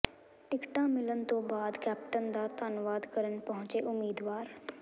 ਟਿਕਟਾਂ ਮਿਲਣ ਤੋਂ ਬਾਅਦ ਕੈਪਟਨ ਦਾ ਧੰਨਵਾਦ ਕਰਨ ਪਹੁੰਚੇ ਉਮੀਦਵਾਰ